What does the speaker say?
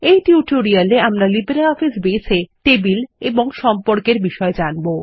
এই টিউটোরিয়ালে আমরা লিব্রিঅফিস বেস এ টেবিল ও সম্পর্ক এর বিষয়ে জানব